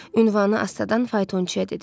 Ünvanı astadan faytonçuya dedi.